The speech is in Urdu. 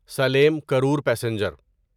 سلیم کرور پیسنجر